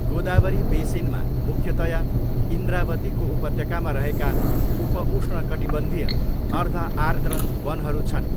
गोदावरी बेसिनमा मुख्यतया इन्द्रावतीको उपत्यकामा रहेका उप उष्णकटिबन्धीय, अर्ध आर्द्र वनहरू छन्।